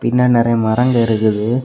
பின்ன நறைய மரங்க இருக்குது.